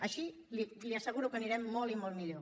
així li asseguro que anirem molt i molt millor